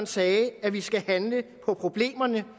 sagde at vi skulle handle på problemerne